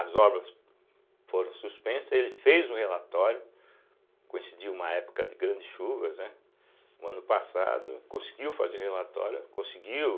As obras foram suspensas, ele fez um relatório, coincidiu uma época de grandes chuvas, né, no ano passado, conseguiu fazer o relatório, conseguiu